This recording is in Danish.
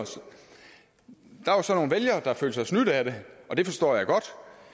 der var så nogle vælgere der følte sig snydt af det og det forstår jeg godt